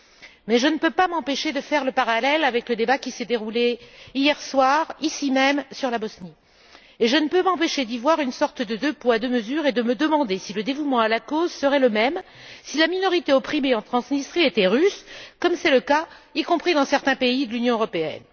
Toutefois, je ne peux pas m'empêcher de faire le parallèle avec le débat qui s'est déroulé hier soir, ici même, sur la Bosnie, et je ne peux m'empêcher d'y voir une sorte de deux poids, deux mesures et de me demander si le dévouement à la cause serait le même si la minorité opprimée en Transnistrie était russe comme c'est le cas dans certains pays de l'Union européenne.